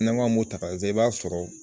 N'an ko an b'o ta ka lajɛ, i b'a sɔrɔ